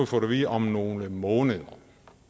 fået at vide om nogle måneder